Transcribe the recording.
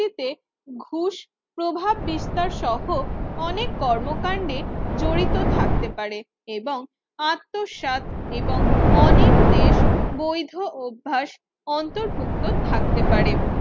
টিতে ঘুষ প্রভাব বিস্তার সহ অনেক কর্মকান্ডে জড়িত থাকতে পারে এবং আত্মসাৎ এবং অনেক দেশ বৈধঅভ্যাস অন্তর্ভুক্ত থাকতে পারে